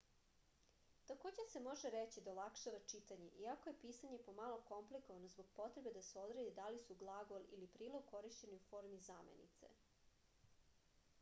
takođe se može reći da olakšava čitanje iako je pisanje pomalo komplikovano zbog potrebe da se odredi da li su glagol ili prilog korišćeni u formi zamenice